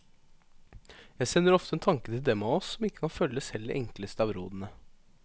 Jeg sender ofte en tanke til dem av oss som ikke kan følge selv de enkleste av rådene.